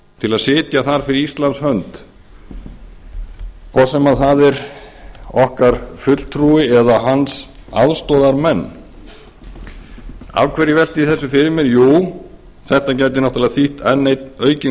til að sitja þar fyrir íslands hönd hvort sem það er okkar fulltrúi eða hans aðstoðarmenn af hverju velti ég þessu fyrir mér jú þetta gæti náttúrlega þýtt enn einn aukinn